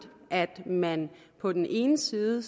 at man på den ene side